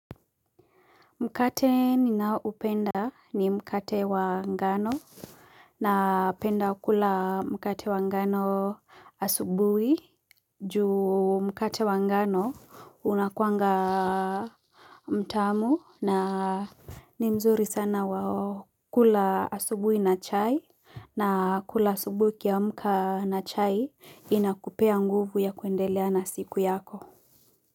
Mkate ninaoupenda ni mkate wa ngano na penda kula mkate wa ngano asubui juu mkate wa ngano unakuanga mtamu na ni mzuri sana wa kula asubui na chai na kula asubui ukiamka na chai inakupea nguvu ya kuendelea na siku yako.